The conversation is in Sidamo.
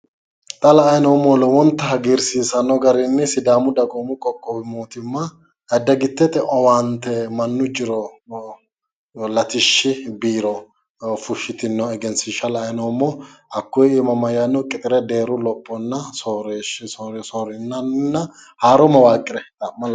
Xa la"ayi noommohu lowonta hagiirsiisanno garinni sidaamu dagoomu qoqqowi mootimma dagittete owaante mannu jiro latishshi biiro fushshitinoha egesiishsha la'ayi noommo hakkuyi iima mayyaanno qixire deeru lophonna soorriranna haaro mawaaqqire xa'ma.